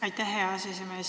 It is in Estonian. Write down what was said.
Aitäh, hea aseesimees!